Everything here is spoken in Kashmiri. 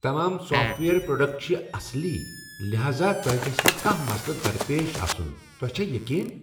تمام سافٹ ویئر پروڈکٹ چھ اصلی لہذا تۄہہ گژھہ نہٕ کانٛہہ مسلہٕ درپیش آسُن تۄہہ چھا یقین؟